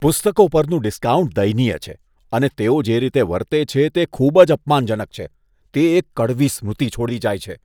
પુસ્તકો પરનું ડિસ્કાઉન્ટ દયનીય છે અને તેઓ જે રીતે વર્તે છે તે ખૂબ જ અપમાનજનક છે. તે એક કડવી સ્મૃતિ છોડી જાય છે.